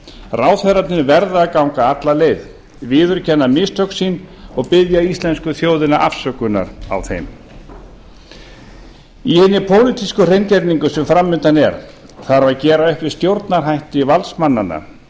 ráðherrarnir verða að ganga alla leið viðurkenna mistök sín og biðja íslensku þjóðina afsökunar á þeim í hinni pólitísku hreingerningu sem fram undan er þarf að gera upp við stjórnarhætti valdsmannanna